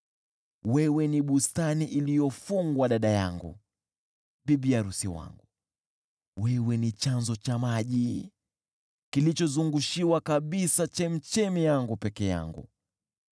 Wewe ni bustani iliyofungwa, dada yangu, bibi arusi wangu; wewe ni chanzo cha maji kilichozungushiwa kabisa, chemchemi yangu peke yangu.